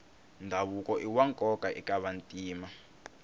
ndhavuko iwa nkoka eka vantima